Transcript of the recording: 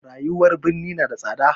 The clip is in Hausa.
Rayuwar birni na da tsada.